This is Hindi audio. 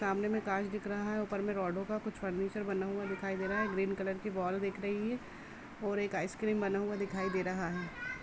सामने में कांच दिख रहा है ऊपर में रडो का कुछ फर्नीचर बना हुआ दिखाई दे रहा है ग्रीन कलर की वॉल दिख रही है और एक आइस क्रीम बना हुआ दिखाई दे रहा है।